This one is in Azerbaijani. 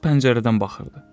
Qız pəncərədən baxırdı.